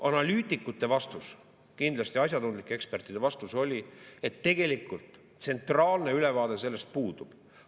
Analüütikute vastus, kindlasti asjatundlike ekspertide vastus oli, et tegelikult tsentraalne ülevaade sellest puudub.